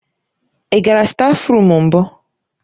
Ị gara stáfruum mbụ?